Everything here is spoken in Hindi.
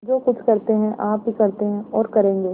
जो कुछ करते हैं आप ही करते हैं और करेंगे